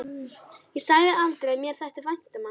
Ég sagði aldrei að mér þætti vænt um hann.